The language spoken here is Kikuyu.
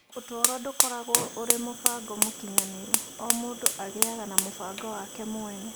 Ũtũũro ndũkoragwo ũrĩ mũbango mũkinyanĩru, o mũndũ agĩaga na mũbango wake mwene.